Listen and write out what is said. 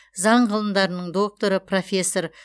заң ғылымдарының докторы профессор